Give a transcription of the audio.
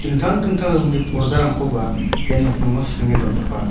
dingtang dingtang rongni pordarangkoba ia nokningo sringe dontoka.